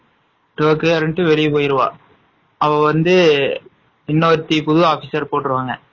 Tokyo வந்து வெளிய போயிருவா அவ வந்து இன்னொருத்தி புது officer போட்ருவாங்க